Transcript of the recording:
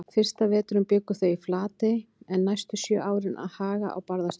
Fyrsta veturinn bjuggu þau í Flatey en næstu sjö árin að Haga á Barðaströnd.